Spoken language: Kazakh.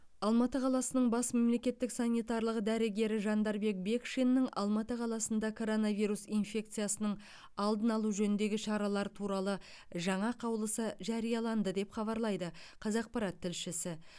алматы қаласының бас мемлекеттік санитарлық дәрігері жандарбек бекшиннің алматы қаласында коронавирус инфекциясының алдын алу жөніндегі шаралар туралы жаңа қаулысы жарияланды деп хабарлайды қазақпарат тілшісі